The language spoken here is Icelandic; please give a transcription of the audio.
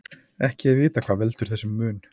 Ekki er vitað hvað veldur þessum mun.